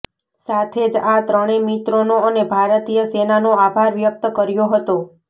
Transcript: સાથે જ આ ત્રણેય મિત્રોનો અને ભારતીય સેનાનો આભાર વ્યક્ત કર્યો હતો